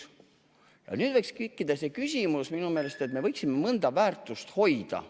Ja nüüd võiks tekkida minu meelest eesmärk, et me võiksime mõnda väärtust hoida.